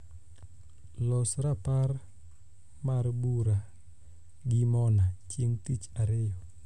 los rapar mar bura gi mona chieng tich ariyo